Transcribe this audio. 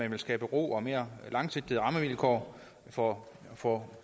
man vil skabe ro og mere langsigtede rammevilkår for for